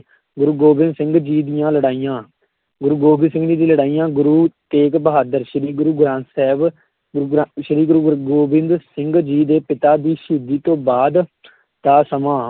ਗੁਰੂ ਗੋਬਿੰਦ ਸਿੰਘ ਜੀ ਦੀਆਂ ਲੜਾਈਆਂ, ਗੁਰੂ ਗੋਬਿੰਦ ਸਿੰਘ ਜੀ ਦੀ ਲੜਾਈਆਂ, ਗੁਰੂ ਤੇਗ ਬਹਾਦਰ ਸ਼੍ਰੀ ਗੁਰੂ ਗ੍ਰੰਥ ਸਾਹਿਬ, ਗੁਰੂ ਗ੍ਰੰ~ ਸ੍ਰੀ ਗੁਰੂ, ਗੁਰ ਗੋਬਿੰਦ ਸਿੰਘ ਜੀ ਦੇ ਪਿਤਾ ਦੀ ਸ਼ਹੀਦੀ ਤੋਂ ਬਾਅਦ ਦਾ ਸਮਾਂ,